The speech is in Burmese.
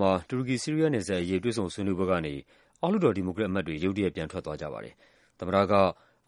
မှာ တူရကီ-ဆီးရီးယား နယ်စပ်အရေး တွေ့ဆုံဆွေးနွေးပွဲကနေ အောက်လွှတ်တော် ဒီမိုကရက်အမတ်တွေ ရုတ်တရက် ပြန်ထွက်သွားကြပါတယ်။ သမ္မတက